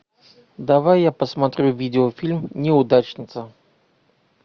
давай я посмотрю видеофильм неудачница